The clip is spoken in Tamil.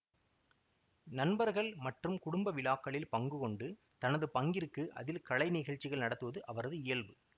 நண்பர்கள் மற்றும் குடும்ப விழாக்களில் பங்கு கொண்டு தனது பங்கிற்கு அதில் கலை நிகழ்ச்சிகள் நடத்துவது அவரது இயல்பு